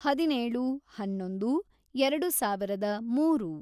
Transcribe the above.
ಹದಿನೇಳು, ಹನ್ನೊಂದು, ಎರೆಡು ಸಾವಿರದ ಮೂರು